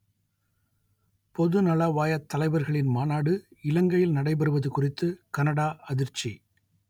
பொதுநலவாயத் தலைவர்களின் மாநாடு இலங்கையில் நடைபெறுவது குறித்து கனடா அதிர்ச்சி